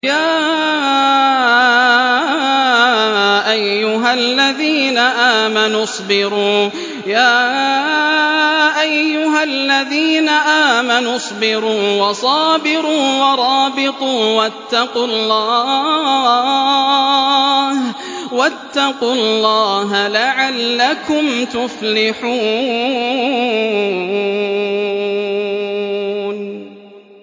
يَا أَيُّهَا الَّذِينَ آمَنُوا اصْبِرُوا وَصَابِرُوا وَرَابِطُوا وَاتَّقُوا اللَّهَ لَعَلَّكُمْ تُفْلِحُونَ